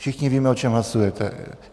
Všichni víme, o čem hlasujeme.